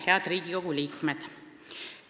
Head Riigikogu liikmed!